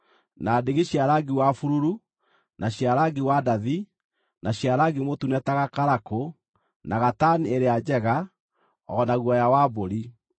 na ndigi cia rangi wa bururu, na cia rangi wa ndathi, na cia rangi mũtune ta gakarakũ, na gatani ĩrĩa njega, o na guoya wa mbũri;